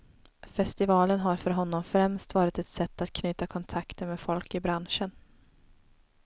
Festivalen har för honom främst varit ett sätt att knyta kontakter med folk i branschen.